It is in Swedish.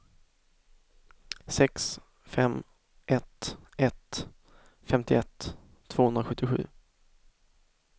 sex fem ett ett femtioett tvåhundrasjuttiosju